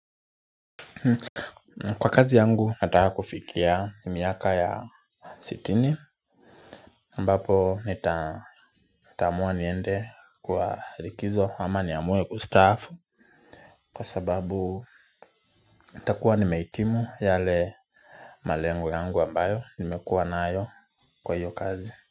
Kwa kazi yangu nataka kufikia miaka ya sitini ambapo nitaamua niende kwa likizo ama niaamue kustaafu. Kwa sababu itakuwa nimeitimu yale malengo yangu ambayo nimekuwa nayo kwa hiyo kazi.